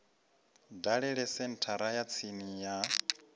dalele senthara ya tsini ya